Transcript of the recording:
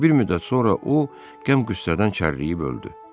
Bir müddət sonra o, qəm-qüssədən çərləyib öldü.